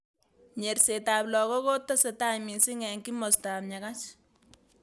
Nyerset ab lakok kotesetai missing eng Kimosta ab Nyakach.